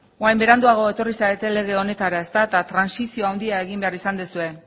orain beranduago etorri zarete lege honetara ezta eta trantsizio handia egin behar izan duzue